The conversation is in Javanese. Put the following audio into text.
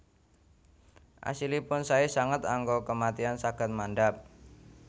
Asilipun sae sanget angka kematian saged mandhap